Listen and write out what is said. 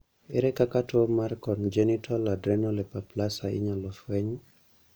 ere kaka tuo mar congenital adrenal hyperplasia inyalo fweny ?